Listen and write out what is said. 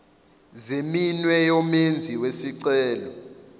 zeminwe yomenzi wesicelo